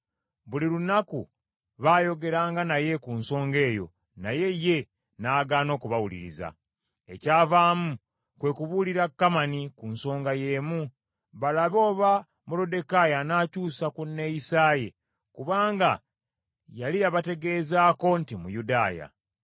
Buli lunaku baayogeranga naye ku nsonga eyo naye ye n’agaana okubawuliriza. Ekyavaamu kwe kubuulira Kamani ku nsonga y’emu, balabe oba Moluddekaayi anaakyusa ku nneeyisa ye, kubanga yali yabategeezaako nti Muyudaaya.